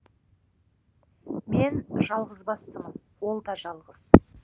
мен жалғыз бастымын ол да жалғыз